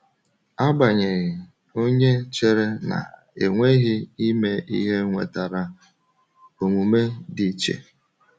Agbanyeghị, onye chere na-enweghị ime ihe nwetara omume dị iche.